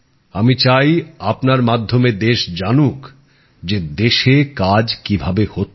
আমি চাই আপনার মাধ্যমে দেশ জানুক যে দেশে কাজ কিভাবে হচ্ছে